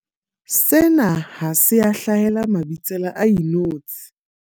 Sena ha se a hlahela Mabitsela a inotshi.